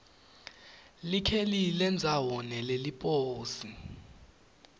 likheli lendzawo neleliposi